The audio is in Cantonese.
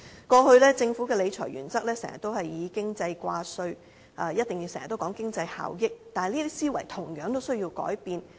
過去，政府的理財原則經常以經濟掛帥，一定講求經濟效益，但這些思維同樣需要改變。